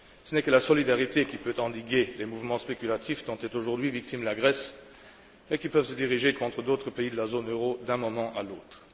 Il n'y a que la solidarité qui puisse endiguer les mouvements spéculatifs dont est aujourd'hui victime la Grèce, et qui peuvent se diriger contre d'autres pays de la zone euro d'un moment à l'autre.